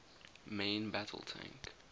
main battle tank